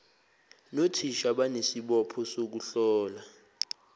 nothisha banesibopho sokuhlola